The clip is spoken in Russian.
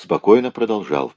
спокойно продолжал